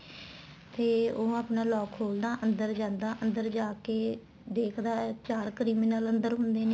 ਤੇ ਉਹ ਆਪਣਾ lock ਖੋਲਦਾ ਅੰਦਰ ਜਾਂਦਾ ਅੰਦਰ ਜਾਕੇ ਦੇਖਦਾ ਚਾਰ criminal ਅੰਦਰ ਹੁੰਦੇ ਨੇ